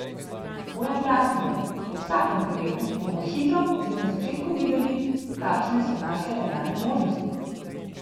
Bojan Prašnikar: 'V vsakem primeru bomo hitro, že na začetku, videli, kakšne so naše realne možnosti.